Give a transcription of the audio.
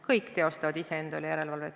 Kõik teostavad komisjonis iseenda üle järelevalvet.